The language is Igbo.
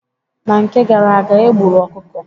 Na nke gara aga, egburu ọkụkọ.